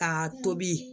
K'a tobi